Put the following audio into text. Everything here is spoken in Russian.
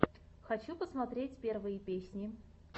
хочу посмотреть первые песни